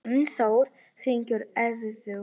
Gunnþór, hringdu í Eiðvöru.